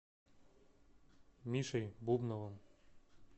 мишей бубновым